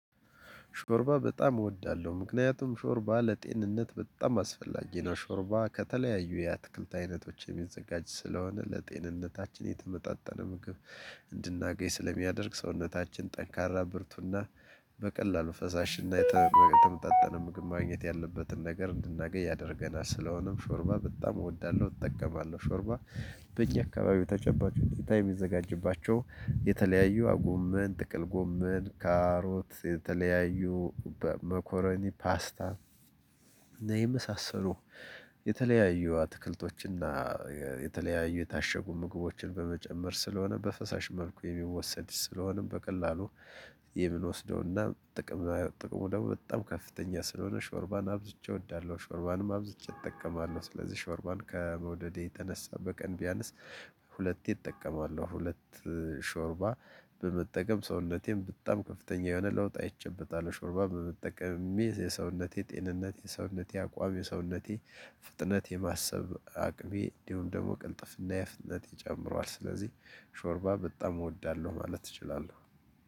ሾርባ በጣም እወዳለሁ ምክንያቱም ሾርባ ለጤንነት በጣም አስፈላጊ ነው ሾርባ ከተለያዩ የአትክልት አይነቶች የሚዘጋጅ ስለሆነ ለጤንነታችን የተመጣጠነ ምግብ እንድናገኝ ስለሚያደርግ ሰውነታችን ጠንካራ ብርቱና በቀላሉ ፈሳሽ እና የተመጣጠነ ምግብ ማግኘት ያለበትን ነገር እንድናገኝ ያደርገናል ስለሆነም ሾርባ በጣም እወዳለሁ። እጠቀማለሁ ሾርባ። በየአካባቢው ተጨባጭ ከምታዩ የሚዘጋጅባቸው የተለያዩ ጉመን ጥቅል ጉመን ካሮት የተለያዩ በመኮረኒ ፓስታ እና የመሳሰሉ የተለያዩ አትክልቶችና የተለያዩ የታሸጉ ምግቦችን በመጨመር ስለሆነ በፈሳሽ መልኩ የሚወሰድ ስለሆነም በቀላሉ የምንወስደውና ጥቅም ጥቅሙ ደግሞ በጣም ከፍተኛ ስለሆነ ሾርባን አብዝቼ እወዳለሁ። ሾርባንም አብዝቼ እጠቀማለሁ። ስለዚህ ሾርባን ከመውደዴ የተነሳ በቀን ቢያንስ ሁለቴ እጠቀማለሁ። ሁለት ሾርባ በመጠቀም ሰውነቴም በጣም ከፍተኛ የሆነ ለውጥ አይቼበታለው። ሾርባ በመጠቀም የሰውነቴ ጤንነት የሰውነቴ አቋም የሰውነቴ ፍጥነት የማሰብ አቅሜ እንዲሁም ደግሞ ቅልጥፍና እና ፍጥነቴ ጨምረዋል። ስለዚህ ሾርባ በጣም እወዳለሁ ማለት እችላለሁ።